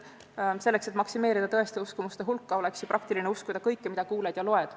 Selleks, et maksimeerida tõeste uskumuste hulka, oleks ju praktiline uskuda kõike, mida kuuled ja loed.